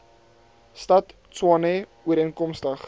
stad tshwane ooreenkomstig